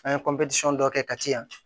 An ye dɔ kɛ ka ti yan